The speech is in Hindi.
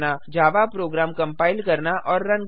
जावा प्रोग्राम कंपाइल करना और रन करना